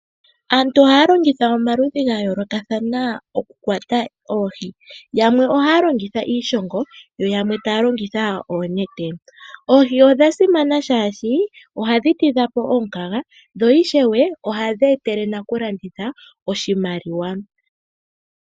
Aantu oha longitha omaludhi ngayoloka thana oku kwata oohii, yamwe ohalongitha iishongo yo yamwe talongitha oonete, oohii odha simana shashi oha dhitidhapo omunkaga dho ishewe oha dhetele nakulanditha oshimaliwa.